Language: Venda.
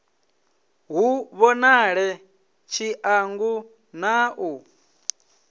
hu vhonale tshiṱangu na u